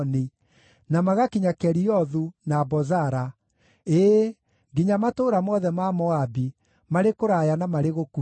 na magakinya Keriothu, na Bozara: ĩĩ, nginya matũũra mothe ma Moabi, marĩ kũraya na marĩ gũkuhĩ.